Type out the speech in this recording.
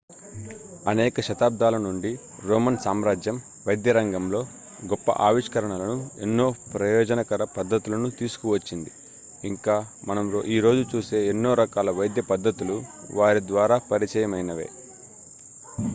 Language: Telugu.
అనేక శతాబ్దాల నుండి రోమన్ సామ్రాజ్యం వైద్యరంగంలో గొప్ప ఆవిష్కరణలను ఎన్నో ప్రయోజనకర పద్దతులను తీసుకువచ్చింది ఇంకా మనం ఈ రోజు చూసే ఎన్నో రకాల వైద్యపద్ధతులు వారి ద్వారా పరిచయమైనవే